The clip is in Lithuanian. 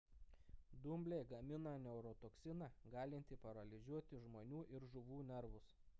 dumbliai gamina neurotoksiną galintį paralyžiuoti žmonių ir žuvų nervus